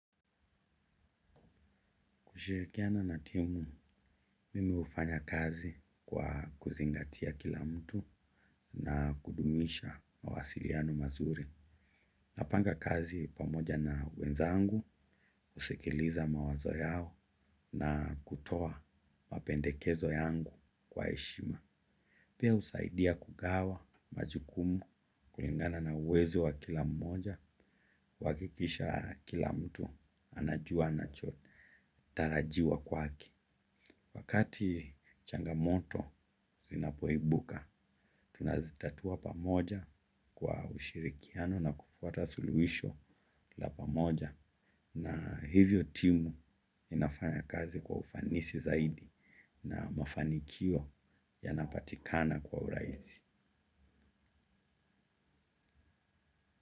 Kushirikiana na timu, mimi ufanya kazi kwa kuzingatia kila mtu na kudumisha mawasiliano mazuri. Napanga kazi pamoja na wezangu, usikiliza mawazo yao na kutoa mapendekezo yangu kwa eshima. Pia usaidia kugawa majukumu kulingana na uwezo wa kila mmoja, kuakikisha kila mtu anajua anacho tarajiwa kwake. Wakati changamoto inapoibuka, tunazitatua pamoja kwa ushirikiano na kupata suluhisho la pamoja na hivyo timu inafanya kazi kwa ufanisi zaidi na mafanikio yana patikana kwa urahisi.